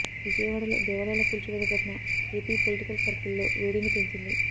విజయవాడలో దేవాలయాల కూల్చివేత ఘటన ఏపీ పొలిటికల్ సర్కిల్ లో వేడిని పెంచింది